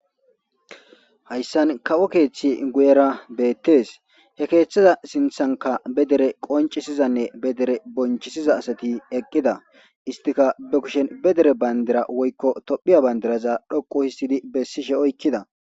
hayssan kawo keeththi guyera beettes he keeththiza sinthanka be dere qoncisizanne be dere bonchisiza asati eqqida istika be kushen be dere bandira woykko tophiya bandiraza dhoqu histidi bessishe oykkida